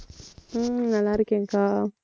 உம் நல்லா இருக்கேன்க்கா.